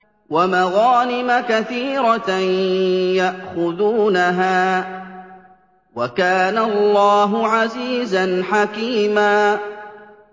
وَمَغَانِمَ كَثِيرَةً يَأْخُذُونَهَا ۗ وَكَانَ اللَّهُ عَزِيزًا حَكِيمًا